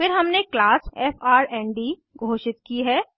फिर हमने class friend घोषित की है